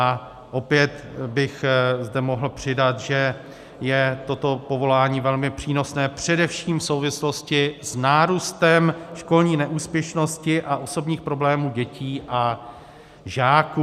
A opět bych zde mohl přidat, že je toto povolání velmi přínosné, především v souvislosti s nárůstem školní neúspěšnosti a osobních problémů dětí a žáků.